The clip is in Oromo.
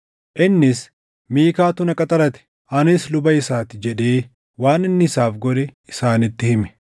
Innis, “Miikaatu na qaxarate; anis luba isaa ti” jedhee waan inni isaaf godhe isaanitti hime.